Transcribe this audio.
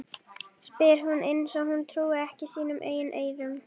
spyr hún eins og hún trúi ekki sínum eigin eyrum.